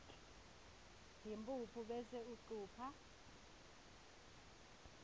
yimphuphu bese ucupha